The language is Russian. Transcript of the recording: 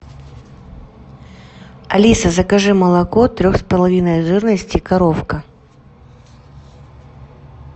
алиса закажи молоко трех с половиной жирности коровка